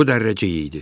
Bu Dərrəcik idi.